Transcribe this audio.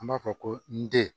An b'a fɔ ko n den